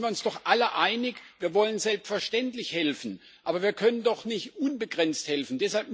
Da sind wir uns doch alle einig Wir wollen selbstverständlich helfen, aber wir können doch nicht unbegrenzt helfen!